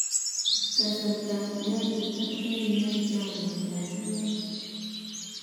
Kasartap nyalilda ne inoe chamyet ap iman.